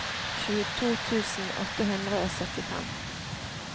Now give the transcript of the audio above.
tjueto tusen åtte hundre og syttifem